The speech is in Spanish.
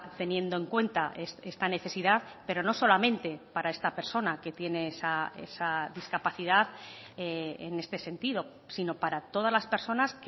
teniendo en cuenta esta necesidad pero no solamente para esta persona que tiene esa discapacidad en este sentido sino para todas las personas